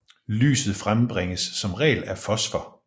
Lyset frembringes som regel af fosfor